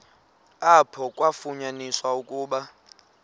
apho kwafunyaniswa ukuba